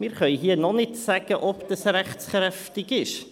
Wir können noch nicht sagen, ob es rechtskräftig sein wird.